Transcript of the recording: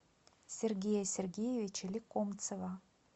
сергея сергеевича лекомцева